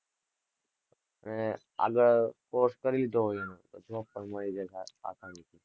આગળ course કરી લીધો હોય એનો, તો job પણ મળી જાય આસાનીથી